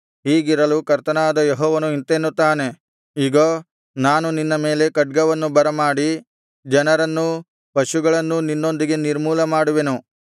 ಹೀಗಿರಲು ಕರ್ತನಾದ ಯೆಹೋವನು ಇಂತೆನ್ನುತ್ತಾನೆ ಇಗೋ ನಾನು ನಿನ್ನ ಮೇಲೆ ಖಡ್ಗವನ್ನು ಬರಮಾಡಿ ಜನರನ್ನೂ ಪಶುಗಳನ್ನೂ ನಿನ್ನೊಳಗಿಂದ ನಿರ್ಮೂಲ ಮಾಡುವೆನು